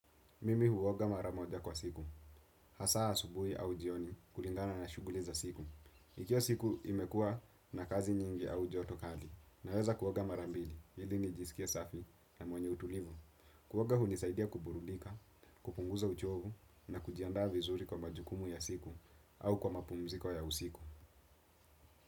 Mimi huoga mara moja kwa siku. Hasaa subuhi au jioni kulingana na shuguli za siku. Ikiwa siku imekua na kazi nyingi au joto kali. Naweza kuoga mara mbili, ili nijisikie safi na mwenye utulivu. Kuoga hunisaidia kuburudika, kupunguza uchovu na kujiandaa vizuri kwa majukumu ya siku au kwa mapumziko ya usiku.